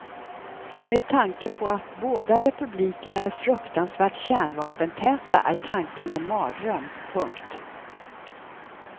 Med tanke på att båda republikerna är fruktansvärt kärnvapentäta är tanken en mardröm. punkt